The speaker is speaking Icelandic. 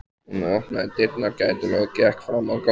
Hann opnaði dyrnar gætilega og gekk fram á ganginn.